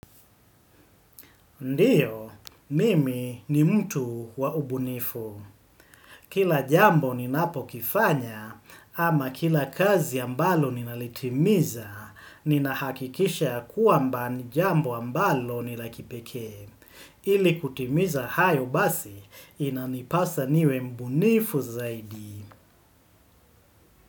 Ndiyo, mimi ni mtu wa ubunifu. Kila jambo ninapo kifanya, ama kila kazi ambalo ninalitimiza, ninahakikisha ya kwamba ni jambo ambalo ni la kipekee. Ili kutimiza hayo basi, inanipasa niwe mbunifu zaidi.